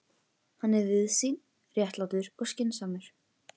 Hann er víðsýnn, réttlátur og skynsamur.